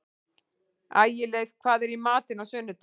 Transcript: Ægileif, hvað er í matinn á sunnudaginn?